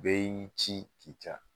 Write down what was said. Bɛɛ y'i ci k'i ca